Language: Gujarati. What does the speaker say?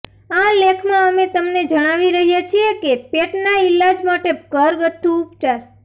આ લેખમાં અમે તમને જણાવી રહ્યા છીએ કે પેટના ઈલાજ માટે ઘરગથ્થું ઉપચાર